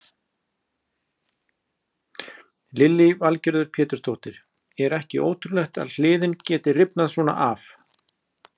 Lillý Valgerður Pétursdóttir: Er ekki ótrúlegt að hliðin geti rifnað svona af?